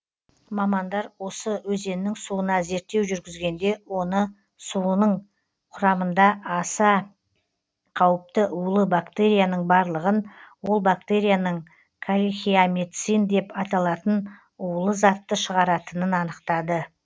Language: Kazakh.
мамандар осы өзеннің суына зерттеу жүргізгенде оны суының құрамында аса қауіпті улы бактерияның барлығын ол бактерияның калихеамицин деп аталатын улы затты шығаратынын анықтады